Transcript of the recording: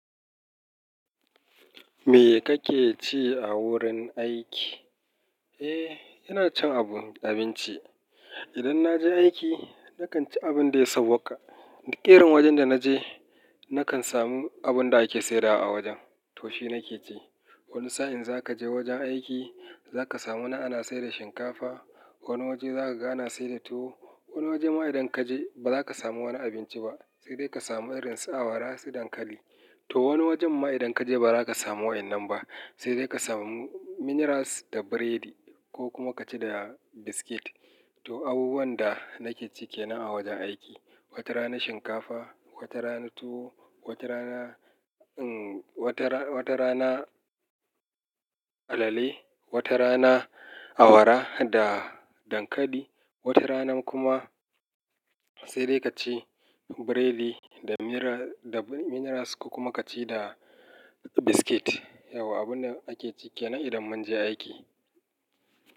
Me kake ci a wurin aiki? Eh, ina cin abu-- abinci. Idan na je aiki, na kan ci abin da ya sauƙa. Da ƙerin wajen da na je, na kan samu abin da ake sayarwa a wajen. To shi nake ci. Wani sa'in za ka je wajen aiki, za ka samu na ana sayar da shinkafa, wani waje za ka ga ana sayar da tuwo, wani waje ma idan ka je ba za ka samu wani abinci ba, sai dai ka samu irin su awara da dankali. To wani wajen ma idan ka je ba za ka samu waɗannan ba, sai dai ka samu minerals da biredi ko kuma ka ci da biskit. To abubuwan da nake ci ke nan a wajen aiki. Wata rana shinkafa, wata rana tuwo, wata rana, umm, wata ra-wata rana alale, wata rana awara da dankali, wata rana kuma sai dai ka ci biredi da mineral da minerals kuma ka ci da biskit. Yauwa, abun da ake ci ke nan idan mun je aiki.